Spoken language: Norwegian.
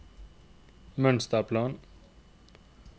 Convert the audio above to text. mønsterplan